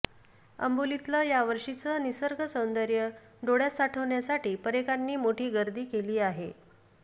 अंबोलीतलं यावर्षीचं निसर्ग सौंदर्य डोळ्यात साठवण्यासाठी पर्यटकांनी मोठी गर्दी केली आहे